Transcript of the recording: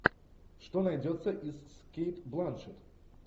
что найдется из кейт бланшетт